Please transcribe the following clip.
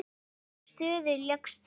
Í hvaða stöðu lékst þú?